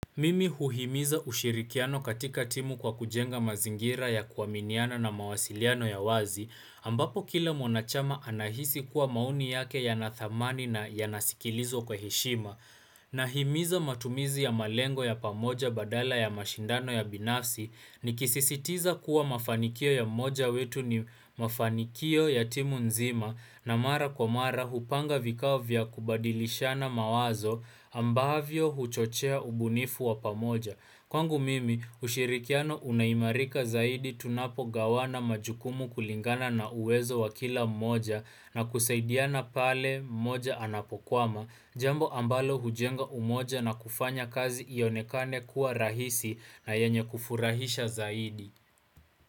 Mimi huhimiza ushirikiano katika timu kwa kujenga mazingira ya kuwaminiana na mawasiliano ya wazi ambapo kila mwanachama anahisi kuwa mauni yake yanathamani na yanasikilizwa kwa heshima Nahimiza matumizi ya malengo ya pamoja badala ya mashindano ya binafsi nikisisitiza kuwa mafanikio ya moja wetu ni mafanikio ya timu nzima na mara kwa mara hupanga vikao kubadilishana mawazo ambavyo huchochea ubunifu wapamoja. Kwangu mimi, ushirikiano unaimarika zaidi tunapogawana majukumu kulingana na uwezo wakila mmoja na kusaidiana pale mmoja anapokwama, jambo ambalo hujenga umoja na kufanya kazi iyonekane kuwa rahisi na yenye kufurahisha zaidi.